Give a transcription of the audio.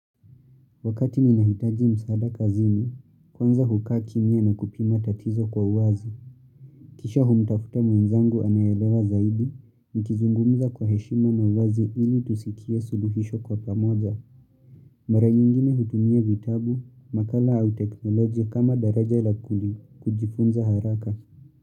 Wakati ninahitaji msaada kazini, kwanza hukaa kimya na kupima tatizo kwa uwazi. Kisha humtafuta mwenzangu anayelewa zaidi. Nikizungumza kwa heshima na uwazi ili tusikie suluhisho kwa pamoja. Mara nyingine hutumia vitabu, makala au teknolojia kama daraja la kujifunza haraka.